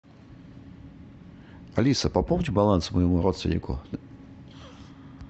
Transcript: алиса пополни баланс моему родственнику